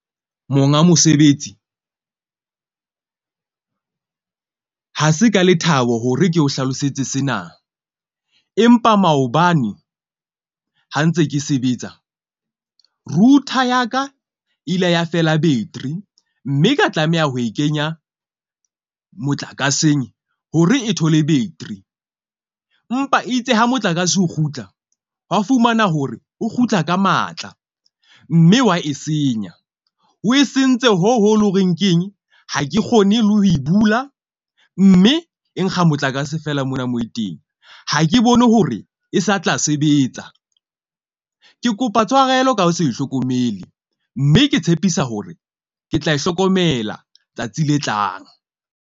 Monga mosebetsi ha se ka lethabo hore ke o hlalosetse sena, empa maobane ha ntse ke sebetsa router ya ka ile ya fela battery. Mme ka tlameha ho e kenya motlakaseng hore e thole battery. Empa itse ha motlakase o kgutla, wa fumana hore o kgutla ka matla. Mme wa e senya o e sentse hoo ho leng ho reng keng ha ke kgone le ho e bula. Mme e nkga motlakase fela mona moo teng. Ha ke bone hore e sa tla sebetsa, ke kopa tshwarelo ka ho se hlokomele, mme ke tshepisa hore ke tla e hlokomela tsatsi le tlang.